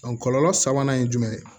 kɔlɔlɔ sabanan ye jumɛn ye